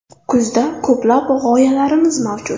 Kuzda ko‘plab g‘oyalarimiz mavjud.